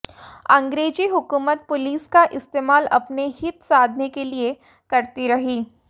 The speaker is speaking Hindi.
अंग्रेजी हुकूमत पुलिस का इस्तेमाल अपने हित साधने के लिए करती रही